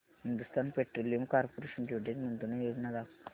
Hindustan petroleum corporation limited गुंतवणूक योजना दाखव